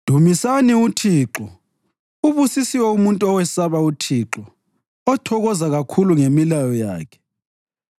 Dumisani uThixo. Ubusisiwe umuntu owesaba uThixo, othokoza kakhulu ngemilayo yakhe.